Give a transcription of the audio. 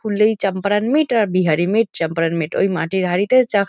খুললেই চম্পারন মিট আর Bihari meat Champaran meat এটা ওই মাটির হাঁড়িতে চা--